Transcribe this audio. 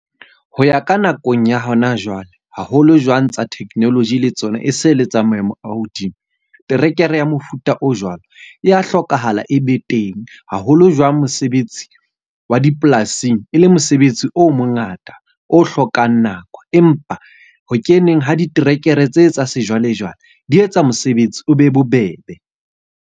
Ho ya ka nakong ya hona jwale, haholo jwang tsa technology le tsona e se le tsa maemo a hodimo. Terekere ya mofuta o jwalo, e ya hlokahala e be teng. Haholo jwang mosebetsi wa dipolasing e le mosebetsi o mo ngata, o hlokang nako. Empa ho keneng ha diterekere tse tsa sejwalejwale di etsa mosebetsi o be bobebe.